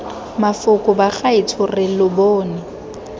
mafoko bagaetsho re lo bone